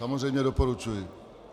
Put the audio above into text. Samozřejmě doporučuji.